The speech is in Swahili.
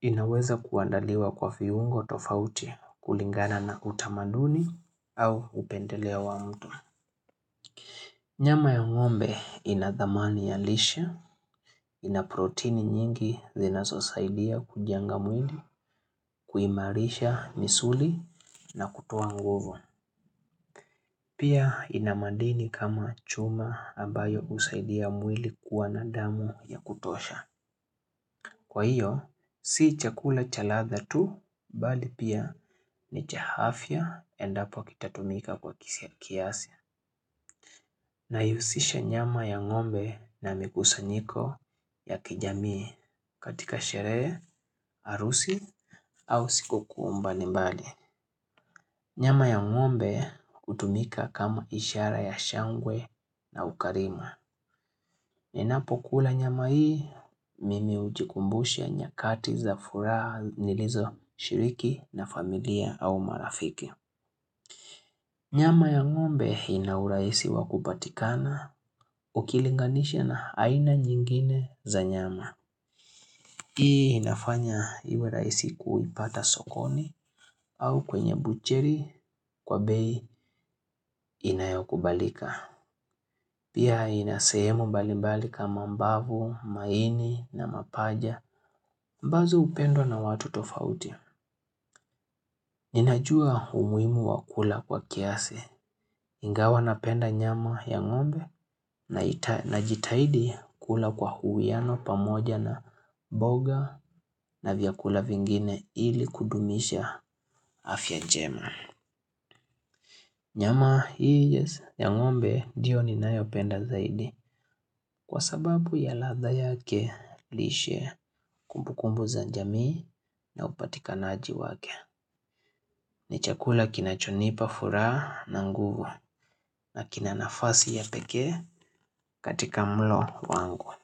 inaweza kuandaliwa kwa viungo tofauti kulingana na utamaduni au upendeleo wa mtu. Nyama ya ng'ombe ina thamani ya lishe ina proteini nyingi zinasosaidia kujenga mwili kuimarisha misuli na kutoa nguvu. Pia ina madini kama chuma ambayo huusaidia mwili kuwa na damu ya kutosha. Kwa hiyo, si chakula cha ladha tu bali pia ni cha afya endapo kitatumika kwa kiasi. Naihusisha nyama ya ng'ombe na mikusanyiko ya kijamii katika shereje, harusi, au sikukuu mbali mbali. Nyama ya ng'ombe hutumika kama ishara ya shangwe na ukarimu. Ninapokula nyama hii, mimi hujikumbusha nyakati za furaha nilizoshiriki na familia au marafiki. Nyama ya ng'ombe ina urahisi wa kupatikana ukilinganisha na aina nyingine za nyama. Hii inafanya iwe rahisi kuipata sokoni au kwenye butchery kwa bei inayokubalika. Pia inasehemu bali mbali kama mbavu, maini na mapaja, ambazo upendwa na watu tofauti. Ninajua umuhimu wa kula kwa kiasi, ingawa napenda nyama ya ngombe najitaidi kula kwa uwiano pamoja na mboga na vyakula vingine ili kudumisha afya njema. Nyama hii ya ng'ombe ndiyo ninayopenda zaidi kwa sababu ya ladha yake lishe kumbukumbu za jamiii na upatikanaji wake. Ni chakula kinachonipa furaha na nguvu na kina nafasi ya pekee katika mlo wangu.